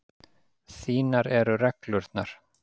Þínar eru reglurnar.